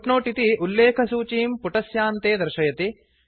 footnote इति उल्लेखसूचीं पुटस्यान्ते दर्शयति